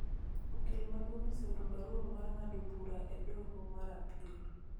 Okil maduong' oseoro barua mar ng�ado bura e doho mar Apil